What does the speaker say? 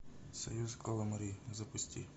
союз каламари запусти